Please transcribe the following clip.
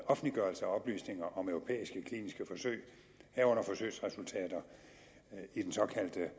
offentliggørelse af oplysninger om europæiske kliniske forsøg herunder forsøgsresultater i den såkaldte